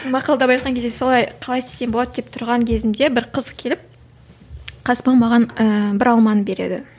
мақалдап айтқан кезде солай қалай істесем болады деп тұрған кезімде бір қыз келіп қасыма маған ііі бір алманы береді